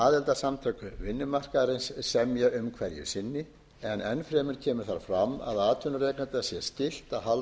aðildarsamtök vinnumarkaðarins semja um hverju sinni en enn fremur kemur þar fram að að atvinnurekanda sé skylt að halda eftir af launum